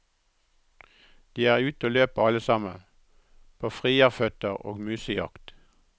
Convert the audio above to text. De er ute og løper alle sammen, på frierføtter og musejakt.